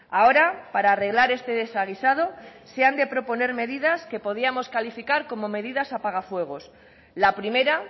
ahora para arreglar este desaguisado se han de proponer medidas que podíamos calificar como medidas apagafuegos la primera